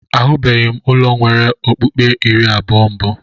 Ahụbeghị m ụlọ nwere ọkpụ́kpụ́ iri abụọ mbụ.